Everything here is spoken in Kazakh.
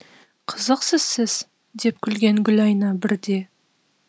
қызықсыз сіз деп күлген гүлайна бірде